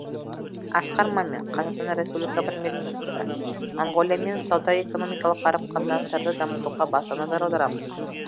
асқар мамин қазақстан республикасы премьер министрі моңғолиямен сауда экономикалық қарым қатынастарды дамытуға баса назар аударамыз